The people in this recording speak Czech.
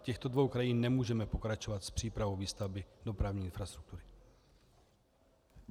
V těchto dvou krajích nemůžeme pokračovat s přípravou výstavby dopravní infrastruktury.